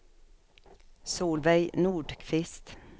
Solveig Nordqvist